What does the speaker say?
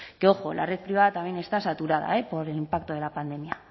que ojo la red privada también está saturada por el impacto de la pandemia